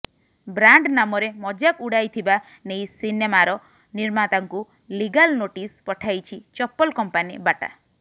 brand ନାମରେ ମଜାକ ଉଡାଇଥିବା ନେଇ ସିନେମାର ନିର୍ମାତାଙ୍କୁ ଲିଗାଲ୍ ନୋଟିସ ପଠାଇଛି ଚପଲ କମ୍ପାନୀ ବାଟା